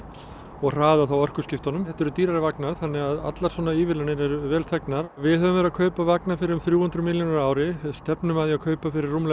og hraðað orkuskiptunum þetta eru dýrari vagnar þannig að allar svona ívilnanir eru vel þegnar við höfum verið að kaupa vagna fyrir um þrjú hundruð milljónir á ári við stefnum að því að kaupa fyrir